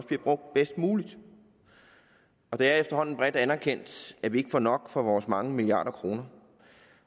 bliver brugt bedst muligt det er efterhånden bredt anerkendt at vi ikke får nok for vores mange milliarder af kroner